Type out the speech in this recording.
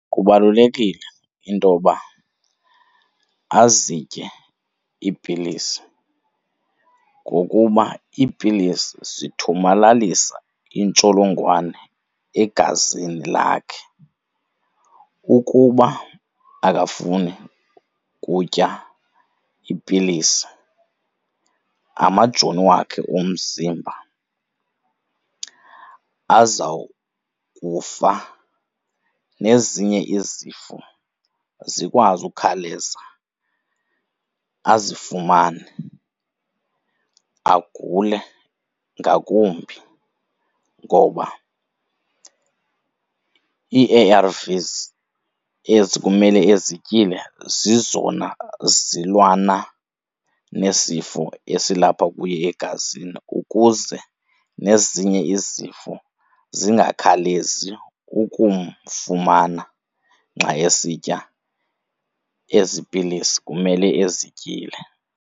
Kubalulekile intoba azitye iipilisi, ngokuba iipilisi zithomalalisa intsholongwane egazini lakhe. Ukuba akafuni kutya iipilisi amajoni wakhe omzimba azawukufa nezinye izifo zikwazi ukhawuleza azifumane, agule ngakumbi. Ngoba ii-A_RV_Ss ezi kumele ezityile zizona zilwana nesifo esilapha kuye egazini ukuze nezinye izifo zingakhawulezi ukumfumana xa esitya ezi pilisi kumele ezityile.